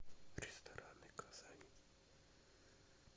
рестораны казани